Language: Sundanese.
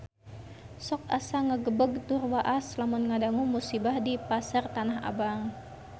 Sok asa ngagebeg tur waas lamun ngadangu musibah di Pasar Tanah Abang